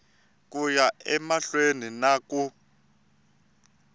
ku ya emahlweni na ku